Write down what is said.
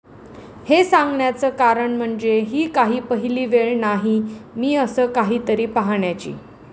हे सांगण्याचं कारण म्हणजे ही काही पहिली वेळ नाही मी असं काहीतरी पाहण्याची.